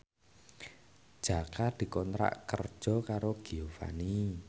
Jaka dikontrak kerja karo Giovanni